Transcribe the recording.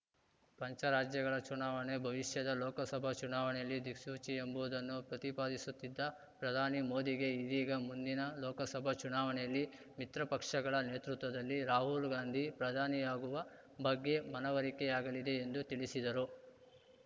ಪಂಚರಾಜ್ಯಗಳ ಚುನಾವಣೆ ಭವಿಷ್ಯದ ಲೋಕಸಭಾ ಚುನಾವಣೆಯಲ್ಲಿ ದಿಕ್ಸೂಚಿ ಎಂಬುದನ್ನು ಪ್ರತಿಪಾದಿಸುತ್ತಿದ್ದ ಪ್ರಧಾನಿ ಮೋದಿಗೆ ಇದೀಗ ಮುಂದಿನ ಲೋಕಸಭಾ ಚುನಾವಣೆಯಲ್ಲಿ ಮಿತ್ರಪಕ್ಷಗಳ ನೇತೃತ್ವದಲ್ಲಿ ರಾಹುಲ್‌ಗಾಂಧಿ ಪ್ರಧಾನಿಯಾಗುವ ಬಗ್ಗೆ ಮನವರಿಕೆಯಾಲಿದೆ ಎಂದು ತಿಳಿಸಿದರು